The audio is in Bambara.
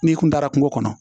N'i kun taara kungo kɔnɔ